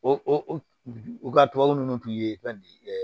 O u ka tubabu nunnu tun ye fɛn